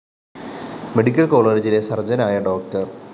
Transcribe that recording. medical കോളജിലെ സര്‍ജനായ ഡോ